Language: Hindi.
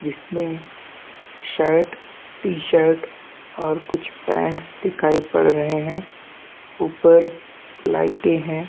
जिस मे शर्ट टीशर्ट और कुछ पैन्ट्स दिखाई पड़ रहे है ऊपर लाइट है।